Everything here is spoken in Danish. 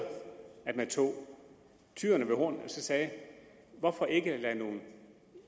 at man tog tyren ved hornene og sagde hvorfor ikke lade nogle